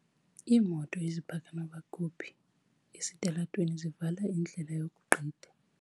Iimoto ezipaka nokuba kuphi esitalatweni zivala indlela yokugqitha.